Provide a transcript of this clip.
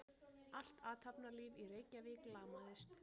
Allt athafnalíf í Reykjavík lamaðist.